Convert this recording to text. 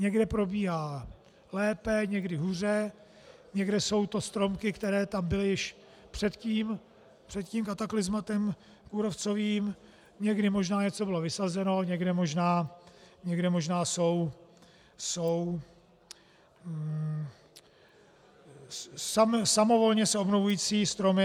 Někde probíhá lépe, někde hůře, někde jsou to stromky, které tam byly ještě před tím kataklyzmatem kůrovcovým, někde možná něco bylo vysazeno, někde možná jsou samovolně se obnovující stromy.